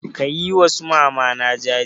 Ka yi wa su mamana jaje?